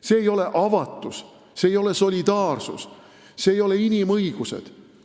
See ei ole avatus, see ei ole solidaarsus, see ei ole inimõigused.